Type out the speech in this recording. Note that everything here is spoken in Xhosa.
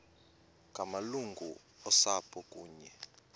ngamalungu osapho kunye